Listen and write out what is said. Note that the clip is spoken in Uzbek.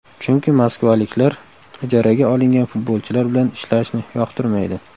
Chunki moskvaliklar ijaraga olingan futbolchilar bilan ishlashni yoqtirmaydi.